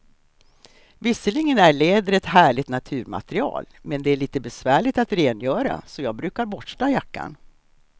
Visserligen är läder ett härligt naturmaterial, men det är lite besvärligt att rengöra, så jag brukar borsta jackan.